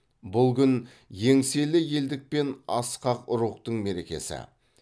бұл күн еңселі елдік пен асқақ рухтың мерекесі